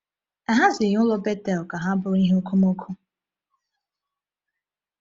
A hazighị ụlọ Bethel ka ha bụrụ ihe okomoko.